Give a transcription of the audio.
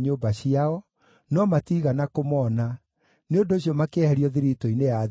1,000 cia thahabu, na mbakũri 50, na nguo cia athĩnjĩri-Ngai 530, nacio ikĩigwo kĩgĩĩna-inĩ.